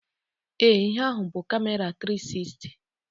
Ee, ihe ahụ bụ Kamera tiri sisti